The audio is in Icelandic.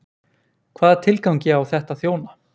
Hvaða tilgangi á þetta að þjóna?